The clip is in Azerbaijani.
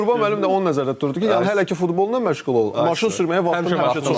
Yəni Qurban müəllim də onu nəzərdə tuturdu ki, yəni hələ ki futbolla məşğul ol, maşın sürməyə vaxtın lazımdır.